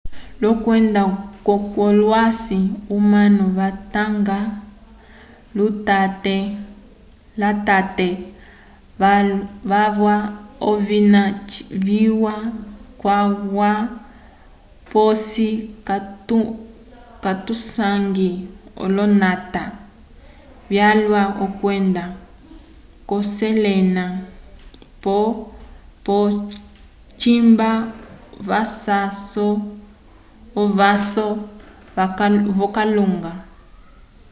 k'okwenda kwolosãyi omanu vatunga lutate walwa ovina viwa calwa posi katusangi olonata vyalwa kwenda kushelena pole cimba ovaso v'okalunga